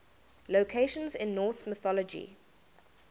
locations in norse mythology